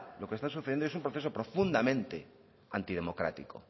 lo que está sucediendo es un proceso profundamente antidemocrático